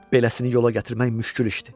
Beləsini yola gətirmək müşküldür.